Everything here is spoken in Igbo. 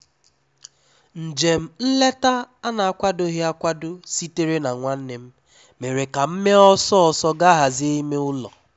Njem nleta a na-akwadoghị akwado sitere na nwannem, mere ka m mee ọsọ ọsọ gaa hazie ime ụ́lọ́.